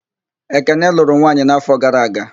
Ekene lụrụ nwanyị n'áfọ̀ gara aga.